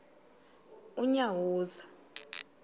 unyawuza